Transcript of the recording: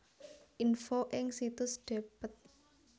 Info ing situs Dept